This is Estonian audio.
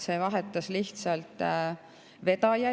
Seal vahetusid lihtsalt vedajad.